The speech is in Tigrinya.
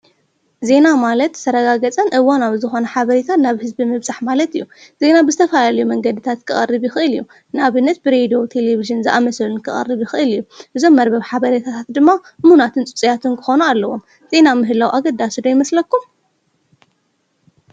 ዜና ማለት ዝተረጋገፀን እዋናዊ ዝኾነ ሓበሬታ ናብ ህዝቢ ምብፃሕ ማለት እዩ። ዜና ብዝተፈላለየ መንገድታት ክቀርብ ይኽእል እዩ። ንኣብነት ብሬድዮ ቴሌቭዥን ዝኣምሰሉን ክቐርብ ይኽእል እዩ። እዞም መርበብ ሓበሬታት ድማ እሙናትን ፅፁያትን ክኾኑ ኣለዎም። ዜና ምህላው ኣገዳሲ ዶ ይመስለኩም?